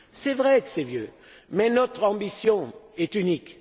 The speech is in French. C'est vrai que c'est vieux mais notre ambition est unique.